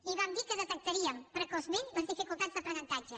i vam dir que detectaríem precoçment les dificultats d’aprenentatge